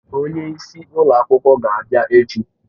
Onye isi ụlọ akwụkwọ ga-abịa echi.